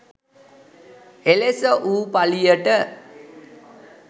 එලෙස වූ පළියට